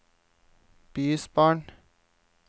bysbarn